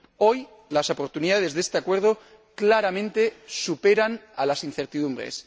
Hoy, las oportunidades de este Acuerdo claramente superan a las incertidumbres.